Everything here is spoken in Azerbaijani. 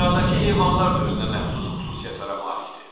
Səhradakı heyvanlar da özünəməxsus xüsusiyyətlərə malikdir.